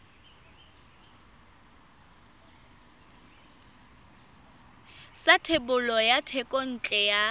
sa thebolo ya thekontle ya